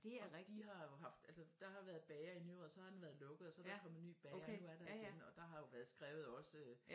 Og de har jo haft altså der har været bager i Nyråd så har den været lukket og så er der kommet ny bager og nu er der igen og der har jo været skrevet også øh